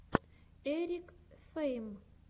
эрик фейм